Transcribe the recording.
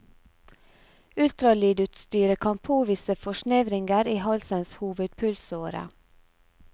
Ultralydutstyret kan påvise forsnevringer i halsens hovedpulsåre.